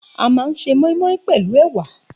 A máa ń se móínmóín pèlú èwà